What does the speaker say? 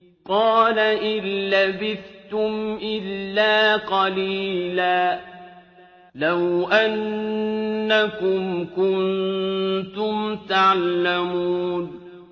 قَالَ إِن لَّبِثْتُمْ إِلَّا قَلِيلًا ۖ لَّوْ أَنَّكُمْ كُنتُمْ تَعْلَمُونَ